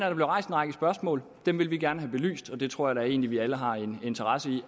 der blev rejst en række spørgsmål dem vil vi gerne have belyst og det tror jeg da egentlig vi alle har en interesse i